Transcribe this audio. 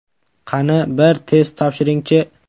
Qani, bir test topshiringchi!